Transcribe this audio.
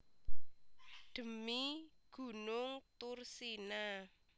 Dhemi gunung Thursina